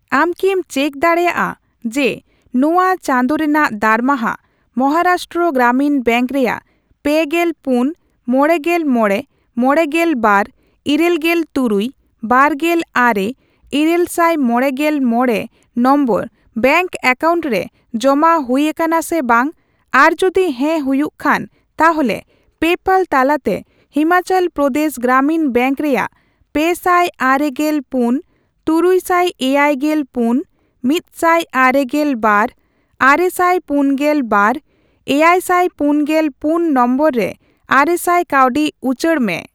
ᱟᱢ ᱠᱤᱢ ᱪᱮᱠ ᱫᱟᱲᱮᱭᱟᱜᱼᱟ ᱡᱮ ᱱᱚᱣᱟ ᱪᱟᱸᱫᱳ ᱨᱮᱱᱟᱜ ᱫᱟᱨᱢᱟᱦᱟ ᱢᱚᱦᱟᱨᱟᱥᱴᱨᱚ ᱜᱨᱟᱢᱤᱱ ᱵᱮᱝᱠ ᱨᱮᱭᱟᱜ ᱯᱮᱜᱮᱞ ᱯᱩᱱ, ᱢᱚᱲᱮᱜᱮᱞ ᱢᱚᱲᱮ, ᱢᱚᱲᱮᱜᱮᱞ ᱵᱟᱨ, ᱤᱨᱟᱹᱞᱜᱮᱞ ᱛᱩᱨᱩᱭ, ᱵᱟᱨᱜᱮᱞ ᱟᱨᱮ, ᱤᱨᱟᱹᱞᱥᱟᱭ ᱢᱚᱲᱮᱜᱮᱞ ᱢᱚᱲᱮ ᱱᱚᱢᱵᱚᱨ ᱵᱮᱝᱠ ᱮᱠᱟᱣᱩᱱᱴ ᱨᱮ ᱡᱚᱢᱟ ᱦᱩᱭ ᱟᱠᱟᱱᱟ ᱥᱮ ᱵᱟᱝ, ᱟᱨ ᱡᱩᱫᱤ ᱦᱮᱸ ᱦᱩᱭᱩᱜ ᱠᱷᱟᱱ ᱛᱟᱦᱚᱞᱮ ᱯᱮᱯᱟᱞ ᱛᱟᱞᱟᱛᱮ ᱦᱤᱢᱟᱪᱚᱞ ᱯᱨᱚᱫᱮᱥ ᱜᱨᱟᱢᱤᱱ ᱵᱮᱝᱠ ᱨᱮᱭᱟᱜ ᱯᱮᱥᱟᱭ ᱟᱨᱮᱜᱮᱞ ᱯᱩᱱ, ᱛᱩᱨᱩᱭᱥᱟᱭ ᱮᱭᱟᱭᱜᱮᱞ ᱯᱩᱱ, ᱢᱤᱫᱥᱟᱭ ᱟᱨᱮᱜᱮᱞ ᱵᱟᱨ, ᱟᱨᱮᱥᱟᱭ ᱯᱩᱱᱜᱮᱞ ᱵᱟᱨ, ᱮᱭᱟᱭᱥᱟᱭ ᱯᱩᱱᱜᱮᱞ ᱯᱩᱱ ᱱᱚᱢᱵᱚᱨ ᱨᱮ ᱟᱨᱮᱥᱟᱭ ᱠᱟᱹᱣᱰᱤ ᱩᱪᱟᱹᱲ ᱢᱮ ?